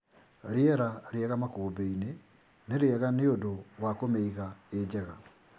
Rĩera rĩega makũmbĩinĩ nĩrĩega nĩundũ wa kũmĩiga ĩjega.